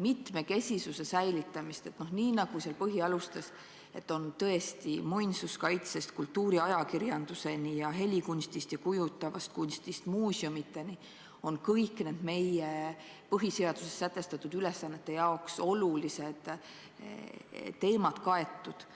mitmekesisuse säilitamist, nii nagu on põhialustes, et tõesti muinsuskaitsest kultuuriajakirjanduseni ning helikunstist ja kujutavast kunstist muuseumideni on kõik meie põhiseaduses sätestatud ülesannete seisukohalt olulised teemad kaetud?